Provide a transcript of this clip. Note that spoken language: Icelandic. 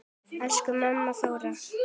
Elsku amma Þóra.